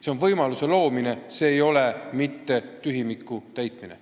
See on võimaluse loomine, see ei ole tühimiku täitmine.